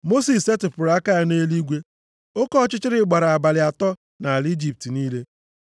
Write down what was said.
Mosis setịpụrụ aka ya nʼeluigwe. Oke ọchịchịrị gbara abalị atọ nʼala Ijipt niile.